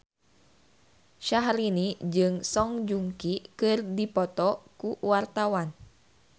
Syahrini jeung Song Joong Ki keur dipoto ku wartawan